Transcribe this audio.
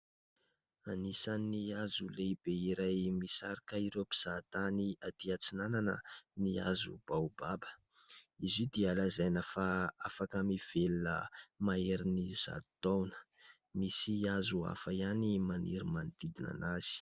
Anisan'ny hazo lehibe iray misarika ireo mpizaha tany atỳ atsinanana ny hazo baobab. Izy io dia lazaina fa afaka mivelona maherin'ny zato taona. Misy hazo hafa ihany maniry manodidina anazy.